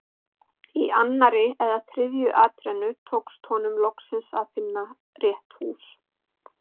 Í annarri eða þriðju atrennu tókst honum loks að finna rétt hús.